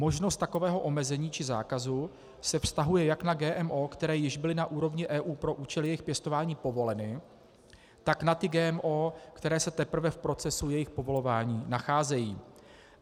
Možnost takového omezení či zákazu se vztahuje jak na GMO, které již byly na úrovni EU pro účely jejich pěstování povoleny, tak na ty GMO, které se teprve v procesu jejich povolování nacházejí.